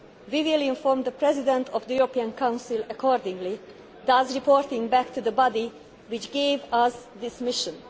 We will inform the President of the European Council accordingly, thus reporting back to the body which gave us this mission.